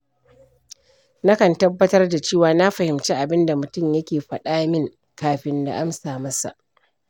Na kan tabbatar da cewa na fahimci abin da mutum ya ke faɗa min kafin na amsa masa.